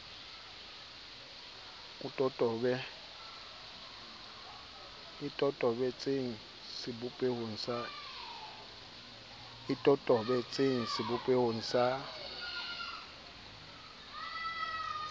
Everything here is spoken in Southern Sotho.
e totobe tseng sebopehong sa